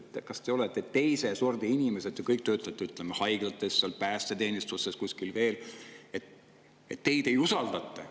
Kas ütleb, et te olete teise sordi inimesed, te kõik töötate, ütleme, haiglates, päästeteenistuses, kuskil veel, aga teid ei usaldata.